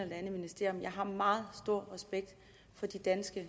det andet ministerium jeg har meget stor respekt for de danske